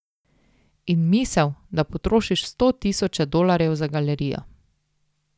In misel, da potrošiš sto tisoče dolarjev za galerijo ...